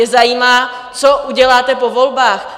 Je zajímá, co uděláte po volbách.